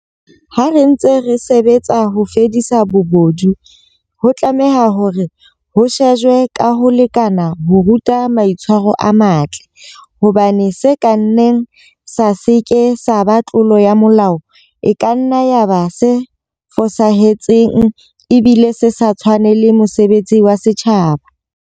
Ha re ntse re sebetsa ho fedisa bobodu, ho tlameha hore ho shejwe ka ho lekana ho ruta maitshwaro a matle, hobane se ka nnang sa se ke sa ba tlolo ya molao e kanna ya ba se fosahetseng ebile se sa tshwanele mosebetsi wa setjhaba.